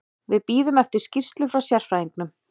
Við bíðum eftir skýrslu frá sérfræðingnum.